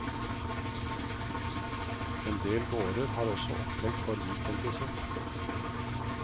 Endel gårder har også opplegg for weekendbesøk.